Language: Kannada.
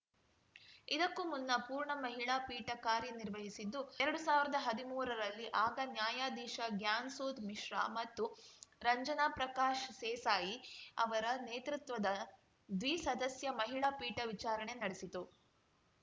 ಇದಕ್ಕೂ ಮುನ್ನ ಪೂರ್ಣ ಮಹಿಳಾ ಪೀಠ ಕಾರ್ಯನಿರ್ವಹಿಸಿದ್ದು ಎರಡ್ ಸಾವಿರ್ದಾ ಹದ್ಮೂರರಲ್ಲಿ ಆಗ ನ್ಯಾಯಾಧೀಶ ಗ್ಯಾನ್‌ ಸುಧಾ ಮಿಶ್ರಾ ಮತ್ತು ರಂಜನಾ ಪ್ರಕಾಶ್‌ ಸೇಸಾಯಿ ಅವರ ನೇತೃತ್ವದ ದ್ವಿಸದಸ್ಯ ಮಹಿಳಾ ಪೀಠ ವಿಚಾರಣೆ ನಡೆಸಿತ್ತು